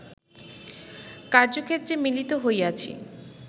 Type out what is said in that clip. কার্য্যক্ষেত্রে মিলিত হইয়াছি